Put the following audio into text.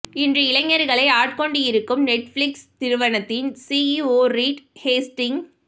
இன்று இளைஞர்களை ஆட்கொண்டு இருக்கும் நெட்பிளிக்ஸ் நிறுவனத்தின் சிஇஓ ரீட் ஹேஸ்டிங்ஸ்